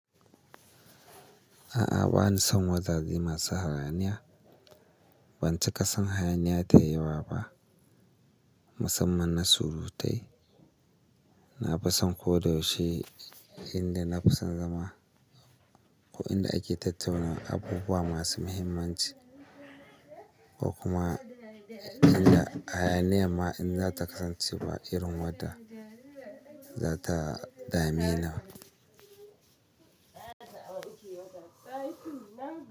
A'a bani son wazaze masu hayaniya. Ban ci kasan hayaniya ta yi wa ba musamman na surutai. Na fi son ko da yaushe inda na fi son zama ko inda ake tattauna abubuwa masu muhimmanci ko kuma inda hayaniya ma in za ta kasance ba irin wadda za ta dame ni ba.